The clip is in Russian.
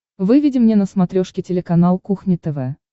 выведи мне на смотрешке телеканал кухня тв